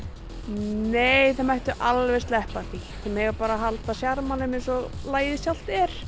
nei þeir mættu alveg sleppa því þeir mega bara halda sjarmanum eins og lagið sjálft er